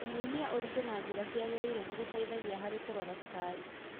Kũnyihia ũritũ na njĩra ciagĩrĩire nĩgũteithagia harĩ kũrora cukari.